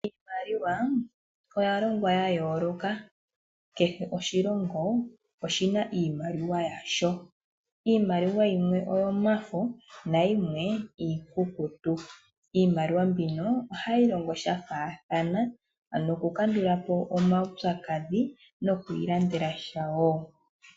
Iimaliwa oya longwa ya yooloka. Kehe oshilongo oshina iimaliwa yasho. Iimaliwa yimwe oyomafo nayimwe iikukutu. Iimaliwa mbino ohayi longo dhafaathana noku kandulapo omawupyakadhi noku ilandela sha woo.